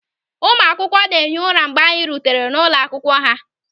Ụmụ akwụkwọ na-ehi ụra mgbe anyị rutere n'ụlọ akwụkwọ ha.